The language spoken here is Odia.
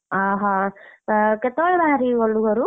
ଅହଃ ତ କେତବେଳେ ବାହାରିକି ଗଲୁ ଘରୁ?